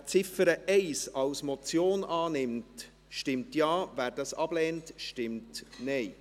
Wer die Ziffer 1 als Motion annimmt, stimmt Ja, wer dies ablehnt, stimmt Nein.